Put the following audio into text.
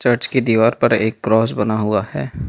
Church की दीवार पर एक क्रॉस बना हुआ है।